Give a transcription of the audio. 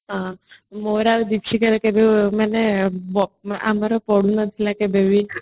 ମୋର ଆଉ dipsitaର କେବେ ମାନେ ଆମର ପଡୁନଥିଲା କେବେ ବି